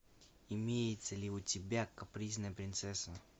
имеется ли у тебя капризная принцесса